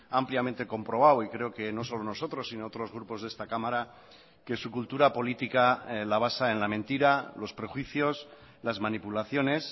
ampliamente comprobado y creo que no solo nosotros sino otros grupos de esta cámara que su cultura política la basa en la mentira los prejuicios las manipulaciones